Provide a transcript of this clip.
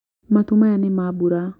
Matu maya nĩ ma mbura